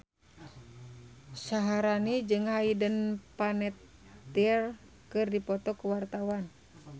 Syaharani jeung Hayden Panettiere keur dipoto ku wartawan